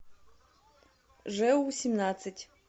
жэу семнадцать